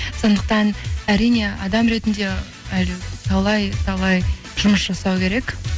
сондықтан әрине адам ретінде әлі талай талай жұмыс жасау керек